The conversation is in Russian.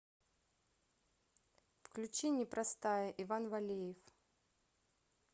включи непростая иван валеев